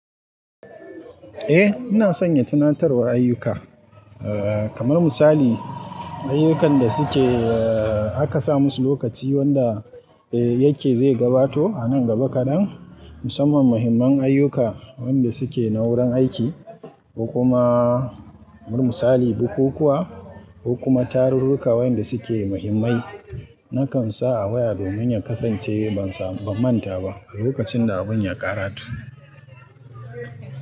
Ina sanya tunatarwar ayyuka. Kamar misali, ayyukan da suke aka sa musu lokaci wanda yake zai gabato a nan gaba kaɗan, musamman muhimman ayyuka wanda suke na wurin aiki, ko kuma, kamar misali, bukukuwa ko kuma tarurruka waɗanda suke muhimmai. Nakan sa a waya domin in kasance ban manta ba a lokacin da abun ya ƙarato.